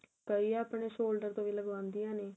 ਕਈ ਆਪਣੇ shoulder ਤੋਂ ਵੀ ਲੱਗਵਾਂ ਦੀਆ ਨੇ